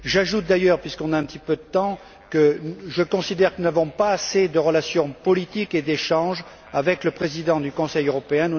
J'ajoute d'ailleurs puisque nous avons un peu de temps que je considère que nous n'avons pas assez de relations politiques et d'échanges avec le Président du Conseil européen.